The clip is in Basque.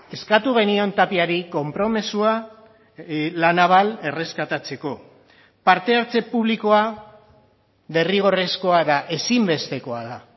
eskatu genion tapiari konpromisoa la naval erreskatatzeko parte hartze publikoa derrigorrezkoa da ezinbestekoa da